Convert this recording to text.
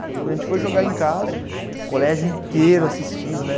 Quando a gente foi jogar em casa, o colégio inteiro assistindo, né?